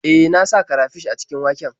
E, na sa karafish a cikin waken.